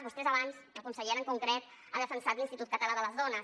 vostès abans la consellera en concret han defensat l’institut català de les dones